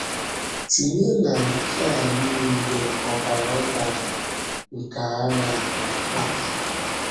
Tìnyè ná nke à niile ọ̀bara dàrà nke àghà kpatàrà.